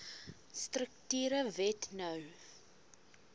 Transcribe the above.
strukture wet no